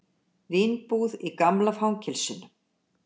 Vínbúð í gamla fangelsinu